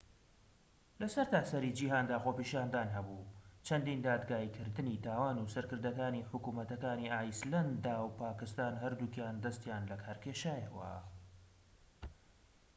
لە سەرتاسەری جیهاندا خۆپیشاندان هەبوو چەندین دادگایکردنی تاوان و سەرکردەکانی حکومەتەکانی ئایسلەندا و پاکستان هەردووکیان دەستیان لەکار کێشایەوە